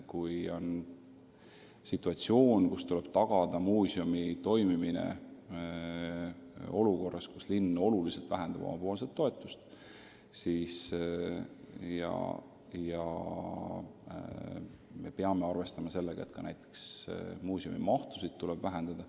Kui tuleb tagada muuseumi toimimine olukorras, kus linn oma toetust kõvasti vähendab ja me peame arvestama sellega, et muuseumi töömahtu tuleb kärpida.